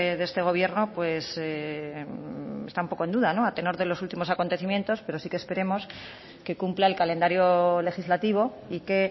de este gobierno está un poco en duda a tenor de los últimos acontecimientos pero sí que esperemos que cumpla el calendario legislativo y que